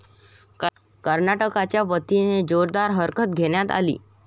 कर्नाटकाच्या वतीने जोरदार हरकत घेण्यात आली.